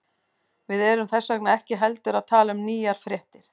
Við erum þess vegna ekki heldur að tala um nýjar fréttir.